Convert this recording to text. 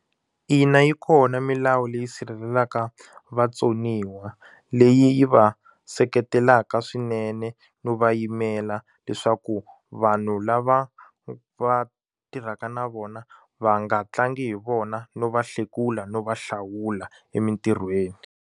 Ina yi kona milawu leyi sirhelelaka vatsoniwa leyi yi va seketelaka swinene no va yimela leswaku vanhu lava va tirhaka na vona va nga tlangi hi vona no va hlekula no va hlawula emintirhweni.